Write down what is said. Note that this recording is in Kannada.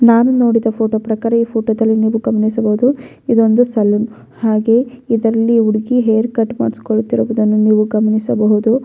ನಾನು ನೋಡಿದ ಫೋಟೋ ಪ್ರಕಾರ ಈ ಫೋಟೋದಲ್ಲಿ ನೀವು ಗಮನಿಸಬಹುದು ಇದೊಂದು ಸಲೂನ್ ಹಾಗೆ ಇದರಲ್ಲಿ ಹುಡುಗಿ ಹೇರ್ ಕಟ್ಟ್ ಮಾಡ್ಸಕೊಳ್ಳುತ್ತಿರುವುದನ್ನು ನೀವು ಗಮನಿಸಬಹುದು.